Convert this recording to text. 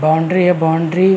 boundary है boundary --